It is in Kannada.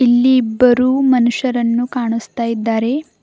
ಇಲ್ಲಿ ಇಬ್ಬರು ಮನುಷ್ಯರನ್ನು ಕಾಣಿಸ್ತಾ ಇದ್ದಾರೆ.